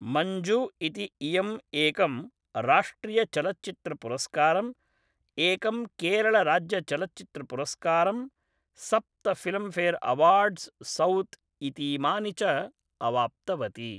मञ्जु इति इयम् एकं राष्ट्रियचलच्चित्रपुरस्कारम्, एकं केरलराज्यचलच्चित्रपुरस्काम्, सप्त फ़िल्म् फ़ेर् अवार्ड्स् सौथ् इतीमानि च अवाप्तवती।